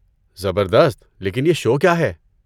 زبردست! لیکن یہ شو کیا ہے؟